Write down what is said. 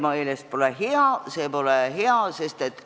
Miks pole see nende meelest hea?